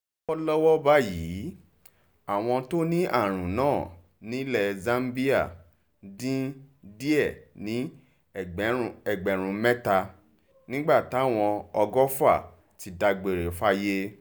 lọ́wọ́lọ́wọ́ báyìí àwọn tó ní àrùn náà nílẹ̀ zambia dín díẹ̀ ní ẹgbẹ̀rún mẹ́ta nígbà táwọn ọgọ́fà ti dágbére fáyé